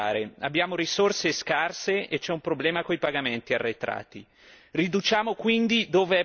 Riduciamo quindi dove è possibile a partire dagli sprechi delle istituzioni europee, Parlamento compreso.